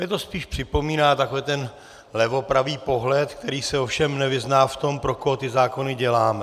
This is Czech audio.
Mně to spíš připomíná takový ten levopravý pohled, který se ovšem nevyzná v tom, pro koho ty zákony děláme.